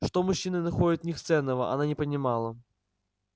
что мужчины находят в них ценного она не понимала